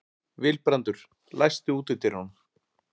Vilbrandur, læstu útidyrunum.